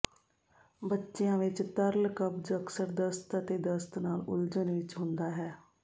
ਬੱਚਿਆਂ ਵਿੱਚ ਤਰਲ ਕਬਜ਼ ਅਕਸਰ ਦਸਤ ਅਤੇ ਦਸਤ ਨਾਲ ਉਲਝਣ ਵਿੱਚ ਹੁੰਦਾ ਹੈ